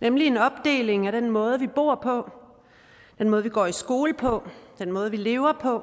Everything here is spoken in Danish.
nemlig en opdeling af den måde vi bor på den måde vi går i skole på den måde vi lever på